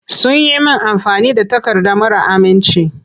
Sun yi min amfani da takarda mara aminci.